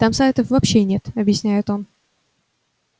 там сайтов вообще нет объясняет он